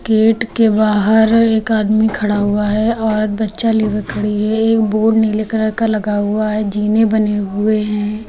Gate के बाहर एक आदमी खड़ा हुआ है औरत बच्चा लिए हुए खड़ी है एक बोर्ड नीले कलर का लगा हुआ है जीने बने हुए हैं।